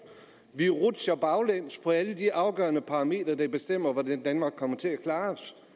vi rutsjer baglæns på alle de afgørende parametre der bestemmer hvordan danmark kommer til at klare